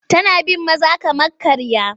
Tana bin maza kamar karya.